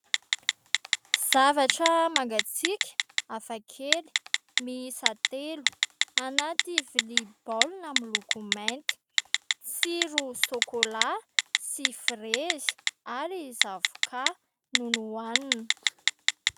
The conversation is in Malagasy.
Zavatra mangatsiaka, hafakely, miisa telo, anaty vilia baolina miloko mainty. Tsiro sokolà sy frezy ary zavoka no nohanina.